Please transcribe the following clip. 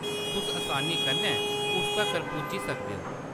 तुस असानी कन्नै उस तक्कर पुज्जी सकदे ओ।